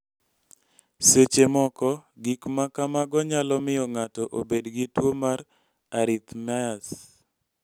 Seche moko gik ma kamago nyalo miyo ng�ato obed gi tuo mar arrhythmias.